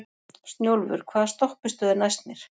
Snjólfur, hvaða stoppistöð er næst mér?